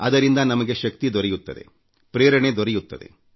ಅದರಿಂದ ನಮಗೆ ಶಕ್ತಿ ದೊರೆಯುತ್ತದೆ ಪ್ರೇರಣೆ ದೊರೆಯುತ್ತದೆ